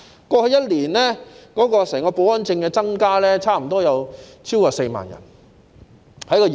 過去1年，業內的保安人員許可證數目增加超過4萬。